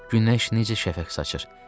Günəş necə şəfəq saçır.